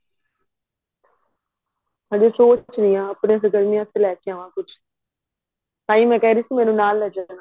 ਹਜੇ ਸੋਚ ਰਹੀ ਹਾਂ ਆਪਣੇ ਲੈਕੇ ਆਵਾਂ ਕੁੱਛ ਤਾਹੀਂ ਮੈਂ ਕਹਿ ਰਹੀ ਸੀ ਮੈਨੂੰ ਨਾਲ ਲੈ ਜਾਣਾ